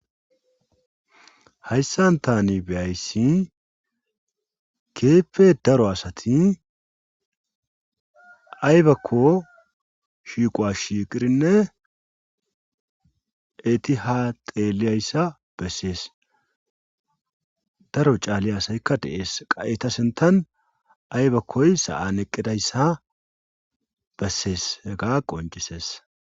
Hayssan tani beyayssi keeppe daro asati aybakko shiiqowa shiiqirinne eti ha xeeliyayssa bessees daro caali asaykka dees qa7etasentan aybakkoy sa7an eqqidayssa bessees ega qoncisees.